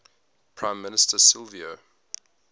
prime minister silvio